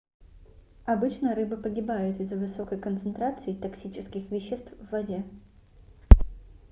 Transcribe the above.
обычно рыбы погибают из-за высокой концентрации токсических веществ в воде